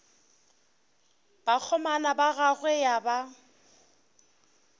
bakgomana ba gagwe ya ba